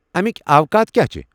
امِكۍ اوقات كیاہ چھِ ؟